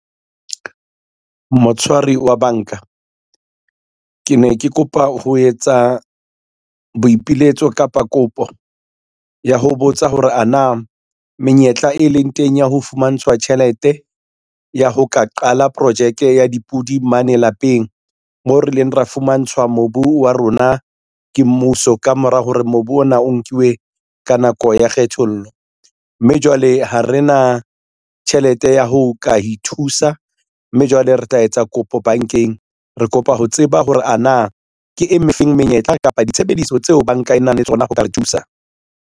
Motshwari wa banka, ke ne ke kopa ho etsa boipiletso kapa kopo ya ho botsa hore ana menyetla e leng teng ya ho fumantshwa tjhelete ya ho ka qala projeke ya dipodi mane lapeng, moo re ileng ra fumantshwa mobu wa rona ke mmuso ka mora hore mobu ona o nkiwe ka nako ya kgethollo, mme jwale ha re na tjhelete ya ho ka ithusa, mme jwale re tla etsa kopo bankeng. Re kopa ho tseba hore a na ke e feng menyetla kapa ditshebediso tseo banka e nang le tsona ho ka re thusa.